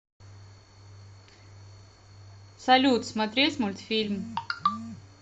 салют смотреть мульфильм